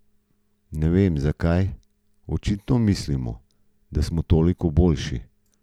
Ne vem, zakaj, očitno mislimo, da smo toliko boljši.